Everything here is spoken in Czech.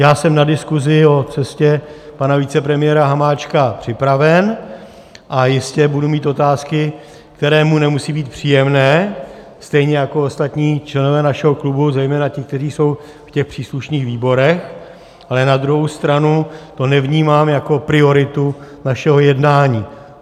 Já jsem na diskuzi o cestě pana vicepremiéra Hamáčka připraven a jistě budu mít otázky, které mu nemusí být příjemné, stejně jako ostatní členové našeho klubu, zejména ti, kteří jsou v těch příslušných výborech, ale na druhou stranu to nevnímám jako prioritu našeho jednání.